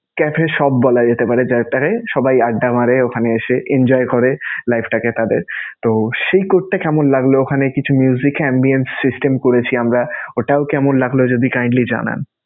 cafe shop বলা যেতে পারে সবাই আড্ডা মারে ওখানে এসে, enjoy করে life টাকে তাঁদের. তো সেই court টা কেমন লাগলো? ওখানে কিছু system করেছি আমরা. ওটাও কেমন লাগলো যদি জানান?